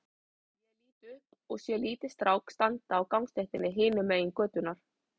Ég lít upp og sé lítinn strák standa á gangstéttinni hinum megin götunnar.